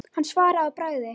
Hann svaraði að bragði.